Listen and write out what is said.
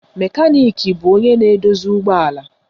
Mekaniki bụ onye na-edozi ụgbọala